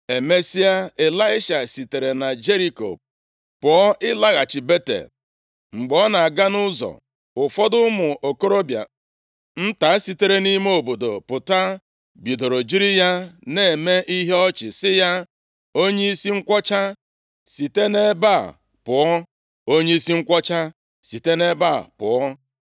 Emesịa, Ịlaisha sitere na Jeriko pụọ ịlaghachi Betel. Mgbe ọ na-aga nʼụzọ, ụfọdụ ụmụ okorobịa nta sitere nʼime obodo pụta, bidoro jiri ya na-eme ihe ọchị, sị ya, “Onyeisi nkwọcha, site nʼebe a pụọ! Onyeisi nkwọcha, site nʼebe a pụọ!”